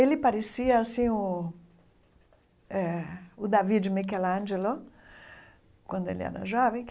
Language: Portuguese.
Ele parecia assim o eh o Davi de Michelangelo, quando ele era jovem.